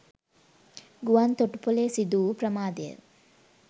ගුවන් තොටුපළේ සිදු වූ ප්‍රමාදය